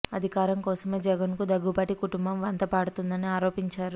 అధికారం కోసమే జగన్ కు దగ్గుబాటి కుటుంబం వంత పాడుతుందని ఆరోపించారు